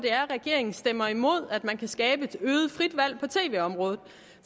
regeringen stemmer imod at man kan skabe et øget frit valg på tv området